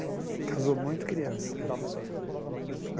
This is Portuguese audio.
Casou muito criança ela.